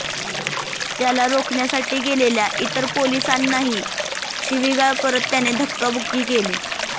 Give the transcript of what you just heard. त्याला रोखण्यासाठी गेलेल्या इतर पोलिसांनाही शिवीगाळ करत त्याने धक्काबुक्की केली